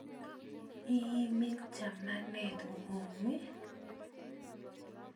Iimin chamanet nguk i?